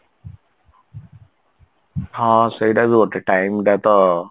ହଁ ସେଇଟା ବି ଗୋଟେ time ଟା ତ